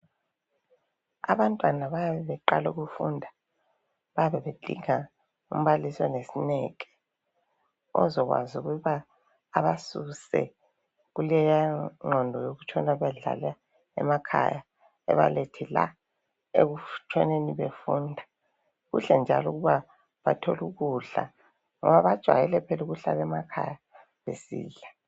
abantwana bayabe beqala ukufunda bayabe bedinga umbalisi onesineke ozokwazi ukuba abasuse kuleya nqondo yokutshona bedlala emakhaya ebalethe la ekutshoneni befunda kuhle njalo ukuba bathole ukudla ngoba bajwayele phela ukuhlala emakhaya besidla